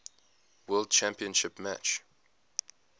world championship match